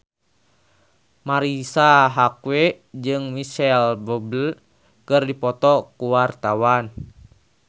Marisa Haque jeung Micheal Bubble keur dipoto ku wartawan